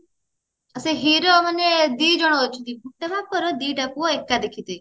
ସେ hero ମାନେ ଦି ଜଣ ଅଛନ୍ତି ଗୋଟେ ବାପ ର ଦିଟା ପୁଅ ଏକା ଦେଖିଥିବେ